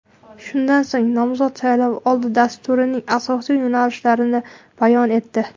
Shundan so‘ng nomzod saylovoldi dasturining asosiy yo‘nalishlarini bayon etdi.